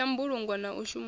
ya mbulungo na u shumana